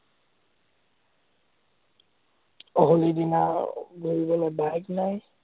হলিৰ দিনা ঘুৰিবলৈ bike নাই।